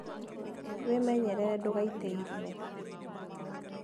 Wĩmenyerere ndũgaite irio.